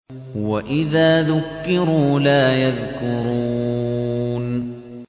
وَإِذَا ذُكِّرُوا لَا يَذْكُرُونَ